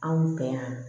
Anw fɛ yan